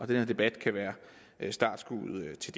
den her debat kan være startskuddet til